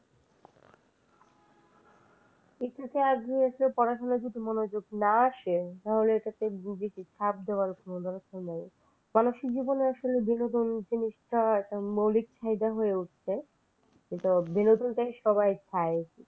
এটাতে আসলে পড়াশোনায় মনোযোগ যদি না আসে তাহলে এটাতে রোগীকে চাপ দেওয়ার কোন দরকার নাই। মানুষের জীবনে আসলে বিনোদন জিনিসটা একটা মৌলিক চাহিদা হয়ে উঠছে। সেই বিনোদনটাই সবাই চায়।